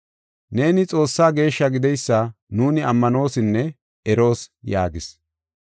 Neeni Xoossaa Geeshshaa gideysa nuuni ammanoosinne eroos” yaagis.